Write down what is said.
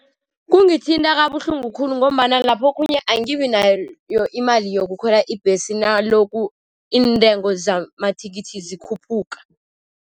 Kungithinta kabuhlungu khulu, ngombana lapho okhunye angibi nayo imali yokukhwela ibhesi nalokhu iintengo zamathikithi zikhuphuka.